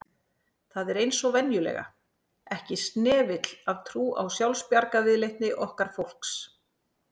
Það er eins og venjulega, ekki snefill af trú á sjálfsbjargarviðleitni okkar fólks